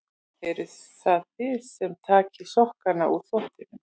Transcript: Eruð það þið sem takið sokkana úr þvottinum?